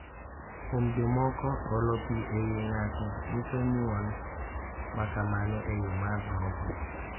Kuom jomoko, olo pi e wi ng’ato nyiso nyuol ma kamano e yo mar roho.